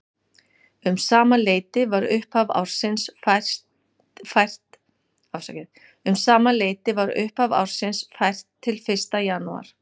Um sama leyti var upphaf ársins fært til fyrsta janúar.